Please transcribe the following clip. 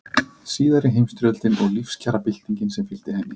Síðari heimsstyrjöldin og lífskjarabyltingin sem fylgdi henni.